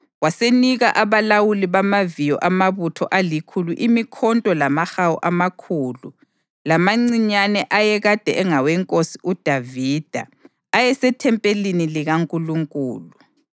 Wasenika abalawuli bamaviyo amabutho alikhulu imikhonto lamahawu amakhulu lamancinyane ayekade engawenkosi uDavida ayesethempelini likaNkulunkulu.